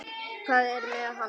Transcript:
Hvað er með hann?